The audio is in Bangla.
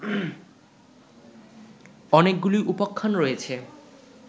অনেকগুলি উপাখ্যান রয়েছে